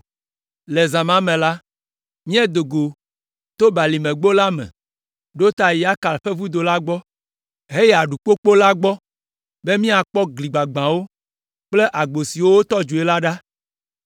Le zã me la, míedo go to Balimegbo la me ɖo ta Yakal ƒe Vudo la gbɔ, heyi Aɖukpogbo la gbɔ be míakpɔ gli gbagbãwo kple agbo siwo wotɔ dzoe la ɖa.